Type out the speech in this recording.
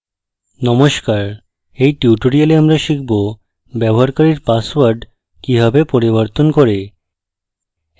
নমস্কার in tutorial আমরা শিখব ব্যবহারকারীর পাসওয়ার্ড কিভাবে পরিবর্তন করে